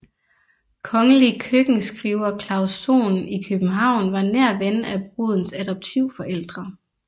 Kongelig køkkenskriver Claus Sohn i København var nær ven af brudens adoptivforældre